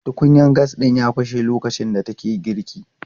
Tukunyan gas ɗin ya fashe lokacin da take girki.